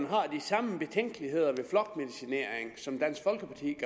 har de samme betænkeligheder ved flokmedicinering som dansk folkeparti